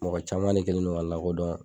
Mɔgɔ caman ne kɛlen no ka n lakodɔn.